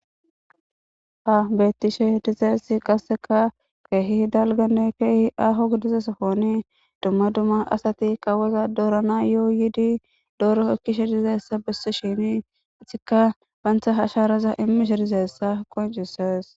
Ha beettishe dizeersi qasseka keehi dalgane keehi aho gidiza sofoni dumma dumma asati qawaza doorana yooyiidi dooro ekkishe dizeessa besse shini itika baantha hasharaza immishe dizessa qoncisees